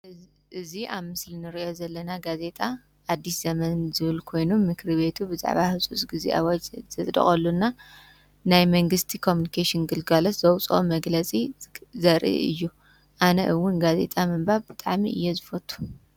እዙይ ኣብ ምስልን ርእዮ ዘለና ጋዜጣ ኣድስ ዘመን ዝብል ኮይኑ ምክሪ ቤቱ ብጻባ ሕጹፅ ጊዜ ወት ዘደቖሉና ናይ መንግሥቲ ቆምንቄስን ግልጓሎስ ዘውፅኦ መግለጺ ዘር እዩ። ኣነ እውን ጋዜጣ መንባብ ብጣሚ እየ ዝፈቱ።